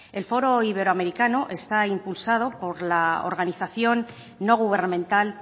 el foro iberoamericano está impulsado por la organización no gubernamental